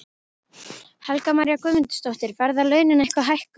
Helga María Guðmundsdóttir: Verða launin eitthvað hækkuð?